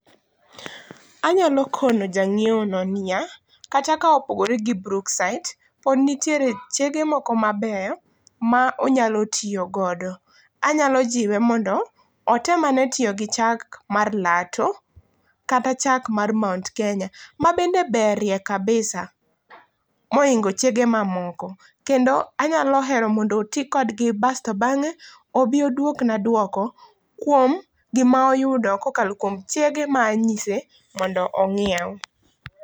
Anyalo kono janyiewo no niya, kata ka opogore gi Brookside, pod nitiere chege moko maber monyalo tiyo godo, anyalo jiwe mondo otemane tiyo gi chak mar Lato kata chak mar Mount Kenya mabende berie kabisa moingo chege mamoko, kendo anyalo hero mondo otii kodgi basto bange obi oduokna duoko duoko kuom gima oyudo kokalo kuom chege ma anyise mondo onyiew